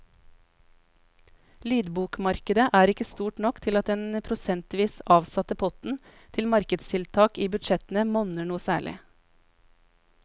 Lydbokmarkedet er ikke stort nok til at den prosentvis avsatte potten til markedstiltak i budsjettene monner noe særlig.